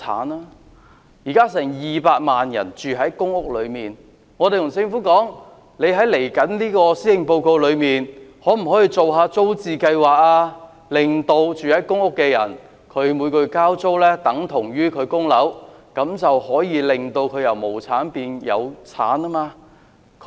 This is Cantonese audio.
現在有近200萬人居住在公營房屋，我們建議政府，在接着的施政報告中，可否推出租置計劃，令居住在公屋裏面的人，每個月交租等同供樓，這便可以讓他們由無產變有產。